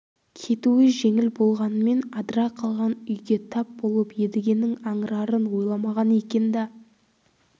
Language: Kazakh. кетуі жеңіл болғанмен адыра қалған үйге тап болып едігенің аңырарын ойламаған екен да